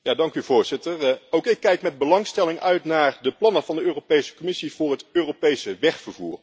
Voorzitter, ook ik kijk met belangstelling uit naar de plannen van de Europese Commissie voor het Europese wegvervoer.